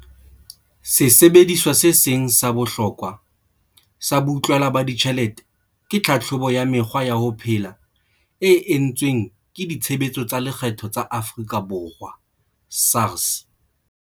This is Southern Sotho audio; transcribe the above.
Sesebediswa se seng sa bohlokwa sa boutlwela ba ditjhelete ke tlhatlhobo ya mekgwa ya ho phela e entsweng ke Ditshebeletso tsa Lekgetho tsa Afrika Borwa, SARS.